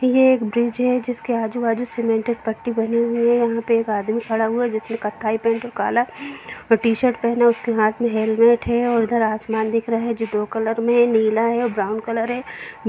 ये एक ब्रिज है जिसके आजु बाजू सीमेंटेड पट्टी बनी हुई है यहाँ पर एक आदमी खड़ा हुआ है जिसने कत्थाई पैंट और काला टीशर्ट पहना है उसके हाथ मे हेलमेट है और इधर आसमान दिख रहा है जो दो कलर में है नीला है और ब्राउन कलर है।